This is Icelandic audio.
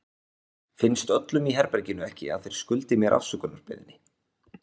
Finnst öllum í herberginu ekki að þeir skuldi mér afsökunarbeiðni?